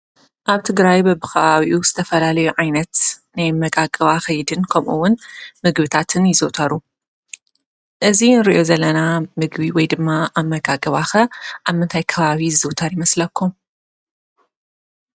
ኣብ ትግራይ በቢ ከባቢኡ ዝተፈላለዩ ዓይነት ናይ ኣመጋግባ ከይድን ከምኡ ውን ምግብታትን ይዝውተሩ። እዚ ንሪኦ ዘለና ምግቢ ወይድማ ኣመጋግባ ኸ ኣብ ምንታይ ከባቢ ይዝውተር ይመስለኩም?